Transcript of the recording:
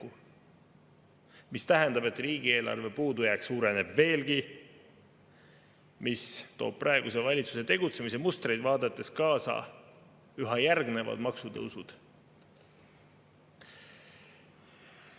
tähendab, et riigieelarve puudujääk suureneb veelgi, mis toob praeguse valitsuse tegutsemismustreid vaadates kaasa üha järgnevad maksutõusud.